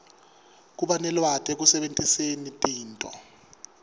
kubanelwati ekusebentiseni tinto